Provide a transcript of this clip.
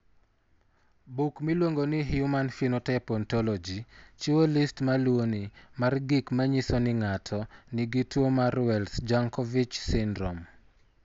Buk miluongo ni Human Phenotype Ontology chiwo list ma luwoni mar gik ma nyiso ni ng'ato nigi tuwo mar Wells Jankovic syndrome.